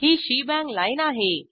ही shebang line आहे